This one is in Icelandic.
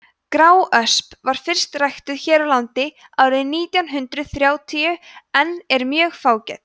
gráösp var fyrst ræktuð hér á landi árið nítján hundrað þrjátíu en er mjög fágæt